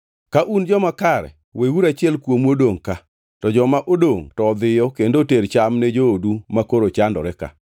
Odiechiengʼ mar adek, Josef nowachonegi niya, “Timuru ma mondo mi udagi, nikech aluoro Nyasaye: